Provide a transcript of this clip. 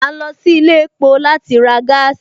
A ń lọ sí ilé epo láti ra gaasi